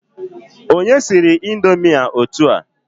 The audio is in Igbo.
Onye siri indomi a otua